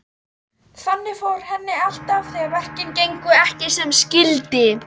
Þannig fór henni alltaf þegar verkin gengu ekki sem skyldi.